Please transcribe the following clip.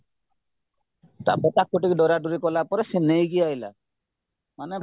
ତାପରେ ତାକୁ ଟିକେ ଡରା ଡରି କଲାପରେ ସିଏ ନେଇକି ଆସିଲା ମାନେ